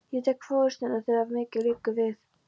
Ég tek forystuna, þegar mikið liggur við!